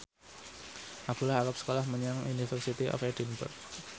Abdullah arep sekolah menyang University of Edinburgh